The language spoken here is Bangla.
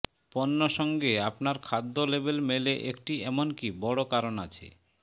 পণ্য সঙ্গে আপনার খাদ্য লেবেল মেলে একটি এমনকি বড় কারণ আছে